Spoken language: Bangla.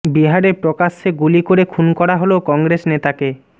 বিহারে প্রকাশ্যে গুলি করে খুন করা হল কংগ্রেস নেতাকে